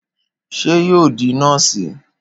Ṣé yóò di nọ́ọ̀sì?